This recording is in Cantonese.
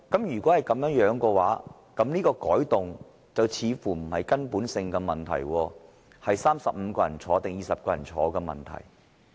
如果是這樣，有關的改動似乎不是根本性的問題，而是35人或20人在席的問題。